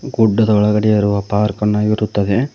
ಗುಡ್ಡದ ಒಳಗಡೆ ಇರುವ ಪಾರ್ಕ್ ಅನ್ನು ಇರುತ್ತದೆ.